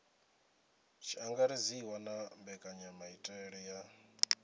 tshi angaredziwa na mbekanyamaitele ya